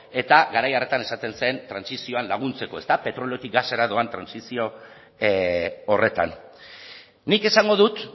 eta garai hartan esaten zen trantsizioan laguntzeko petroliotik gasera doan trantsizio horretan nik esango dut